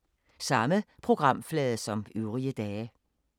Samme programflade som øvrige dage